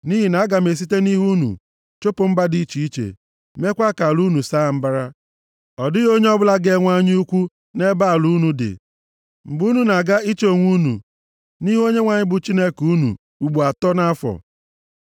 Nʼihi na aga m esite nʼihu unu chụpụ mba dị iche iche. Meekwa ka ala unu saa mbara. Ọ dịghị onye ọbụla ga-enwe anya ukwu nʼebe ala unu dị, mgbe unu na-aga iche onwe unu nʼihu Onyenwe anyị bụ Chineke unu, ugbo atọ nʼafọ.